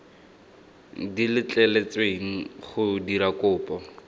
di letleletsweng go dira kopo